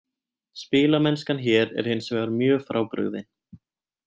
Spilamennskan hér er hinsvegar mjög frábrugðin.